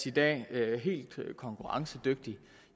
i dag helt konkurrencedygtig